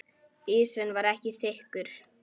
Ísinn var ekki þykkur.